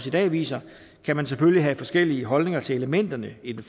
i dag viser kan man selvfølgelig have forskellige holdninger til elementerne i den